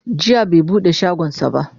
jiya bai buɗe shagonsa ba